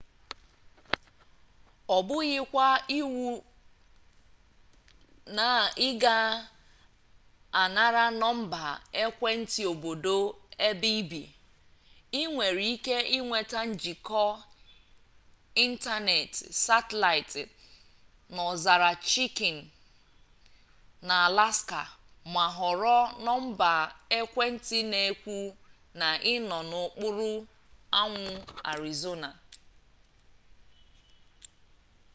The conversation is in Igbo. ọ bụghịkwa iwu na ị ga-anara nọmba ekwentị obodo ebe i bi i nwere ike ịnweta njikọ ịntanetị satịlaịt n'ọzara chikin n'alaska ma họrọ nọmba ekwentị na-ekwu na ị nọ n'okpuru anwụ arizona